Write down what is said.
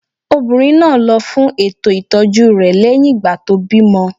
Obìnrin náà lọ fún ètò ìtọ́jú rẹ̀ lẹ́yìn ìgbà tó bímọ